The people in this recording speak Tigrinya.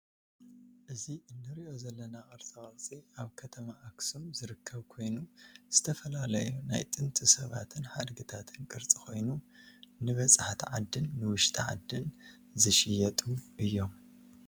እዚ ንርኦ ዘለና ቅርፃቅርፂ ኣብ ከተማ ኣክሱም ዝርከብ ኮይኑ ዝተፈላለዩ ናይ ጥንቲ ሰባትን ሓድግታትን ቅርፂ ኮይኑ ንበፃሕቲ ዓድን ንውሽጢ ዓድን ዝሽየጡ እዮም።